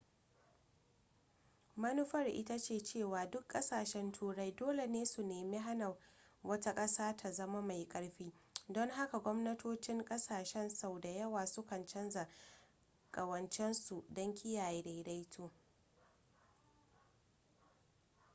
manufar ita ce cewa duk ƙasashen turai dole ne su nemi hana wata ƙasa ta zama mai ƙarfi don haka gwamnatocin ƙasashe sau da yawa sukan canza ƙawancensu don kiyaye daidaito